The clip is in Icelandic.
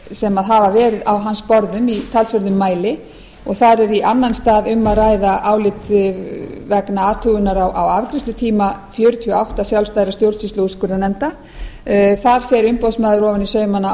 sem hafa verið á hans borðum í talsverðum mæli og þar er í annan stað um að ræða álit vegna athugunar á afgreiðslutíma fjörutíu og átta sjálfstæðra stjórnsýslu og úrskurðarnefnda þar fer umboðsmaður ofan í saumana